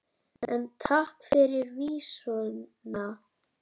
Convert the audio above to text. En takk fyrir vísuna!